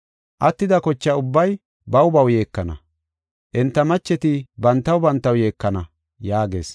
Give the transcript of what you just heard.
Attida kocha ubbay baw baw yeekana; enta macheti bantaw bantaw yeekana” yaagees.